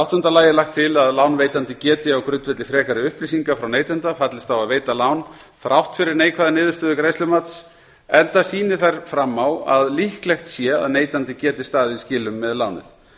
áttunda lagt er til að lánveitandi geti á grundvelli frekari upplýsinga frá neytanda fallist á að veita lán þrátt fyrir neikvæða niðurstöðu greiðslumats enda sýni þær fram á að líklegt sé að neytandi geti staðið í skilum með lánið